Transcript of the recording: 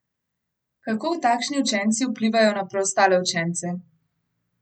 Kako takšni učenci vplivajo na preostale učence?